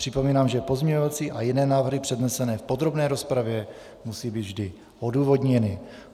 Připomínám, že pozměňovací a jiné návrhy přednesené v podrobné rozpravě musí být vždy odůvodněny.